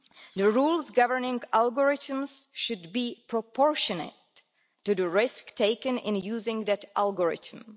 The rules governing algorithms should be proportionate to the risk taken in using that algorithm.